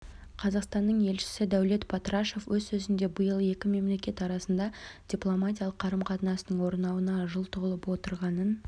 қазақстанның елшісі дәулет батрашев өз сөзінде биыл екі мемлекет арасында дипломатиялық қарым-қатынастың орнауына жыл толып отырғанын